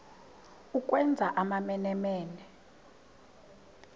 ukwenza amamene mene